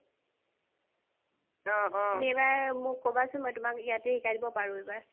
তুমি এইবাৰ মোক কবাচোন মই তুমাক ইয়াতেই শিকাই দিব পাৰো এইবাৰ